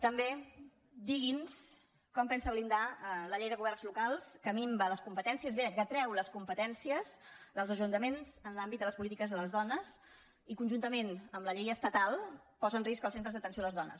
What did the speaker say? també digui’ns com pensa blindar la llei de governs locals que minva les competències bé que treu les competències dels ajuntaments en l’àmbit de les polítiques de les dones i conjuntament amb la llei estatal posa en risc els centres d’atenció a les dones